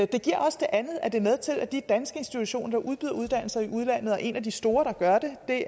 det giver også det andet at det er med til at de danske institutioner der udbyder uddannelser i udlandet og en af de store der gør det er